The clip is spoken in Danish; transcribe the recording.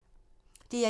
DR1